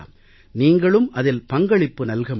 நீங்களும் அதில் பங்களிப்பு நல்க முடியும்